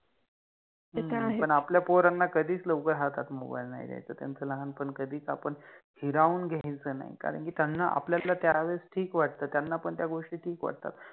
ते त आहेच, पण आपल्या पोराना कधिच लवकर हातात मोबाइल नाहि द्यायच, त्यांच लहानपण कधिच आपण हिरावुन घ्यायच नाहि, कारण कि त्याना आपल्यातल त्यावेळेस ठिक वाटत, त्याना पण त्या गोष्टी ठिक वाटतात